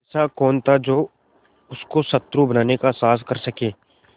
ऐसा कौन था जो उसको शत्रु बनाने का साहस कर सके